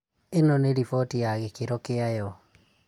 ĩno nĩ riboti ya gĩkĩro kĩayo